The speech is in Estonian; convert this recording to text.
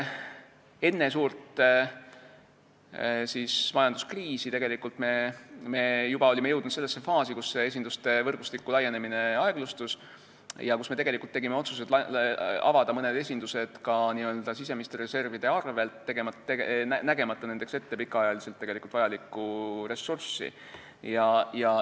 Enne suurt majanduskriisi me olime jõudnud juba sellesse faasi, kus esinduste võrgustiku laienemine aeglustus ja me tegime otsuse avada mõned esindused ka n-ö sisemiste reservide arvel, nägemata ette pikaajaliselt vajalikku ressurssi.